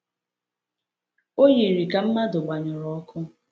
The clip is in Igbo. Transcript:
O yiri ka mmadụ gbanyụrụ ọkụ.